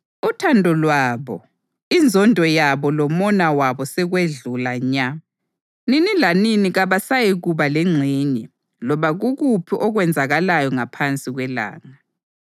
Uthando lwabo, inzondo yabo lomona wabo sekwedlula nya; nini lanini kabasayikuba lengxenye loba kukuphi okwenzakalayo ngaphansi kwelanga.